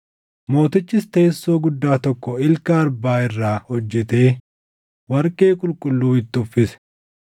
Mootichis teessoo guddaa tokko ilka arbaa irraa hojjetee warqee qulqulluu itti uffise.